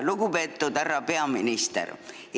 Lugupeetud härra peaminister!